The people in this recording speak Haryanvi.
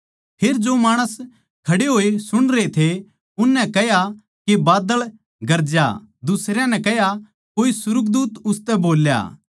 फेर जो माणस खड़े होए सुणरे थे उननै कह्या के बाद्दळ गरजा दुसरयां नै कह्या कोए सुर्गदूत उसतै बोल्या